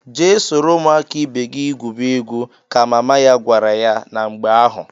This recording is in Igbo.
"Jee soro ụmụaka ibe gị gwube egwu!" ka mama ya gwara ya na mgbe ahụ.